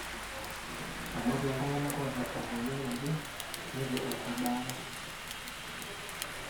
ematwa ooltung'anak oota emweyian naje neitu eing'oru baata